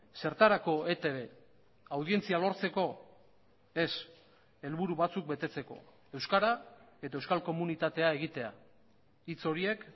zertarako etb audientzia lortzeko ez helburu batzuk betetzeko euskara eta euskal komunitatea egitea hitz horiek